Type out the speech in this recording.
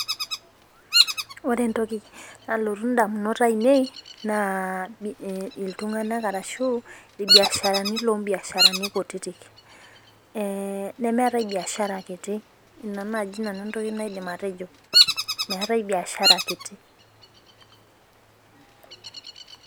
Ore entoki naloytu indamunot ainei naa iltunganak arashu irbiasharani lombiasharani kutitik ee nemeetae biashara kiti , ina naji nanu entoki naidim atejo meetae biashara kiti.